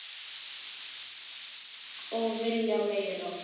Og vilja meira.